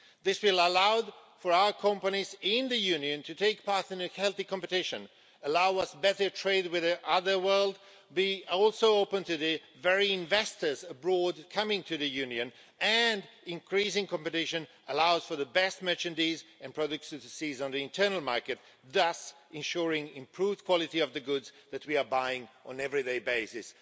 This will allow our companies in the Union to take part in a healthy competition, allow us better trade with the rest of the world, be also open to the very investors abroad coming to the Union and increasing competition allows for the best merchandise and products of the season on the internal market, thus ensuring improved quality of the goods that we are buying on an everyday basis.